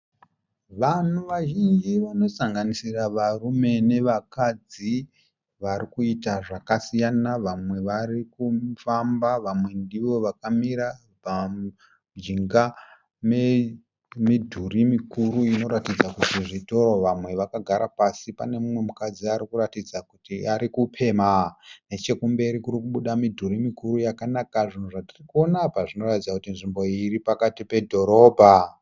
Vanhu vazhinji vanosanganisira varume nevakadzi varikuita zvakasiyana, vamwe varikufamba vamwe ndivo vakamira mujinga memidhuri mikuru inoratidza kuti zvitoro. Vamwe vakagara pasi. Pane mumwe mukadzi arikuratidza kuti arikupemha. Nechekumberi kurikubuda midhuri yakanaka. Zvinhu zvatiri kuona apa zvinoratidza kuti nzvimbo iyi iripakati pedhorobha.